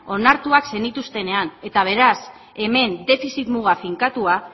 onartuan zenituztenean eta beraz hemen defizit muga finkatua